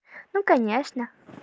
ну конечно